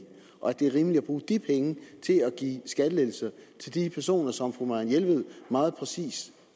og at det er rimeligt at bruge de penge til at give skattelettelser til de personer som fru marianne jelved meget præcist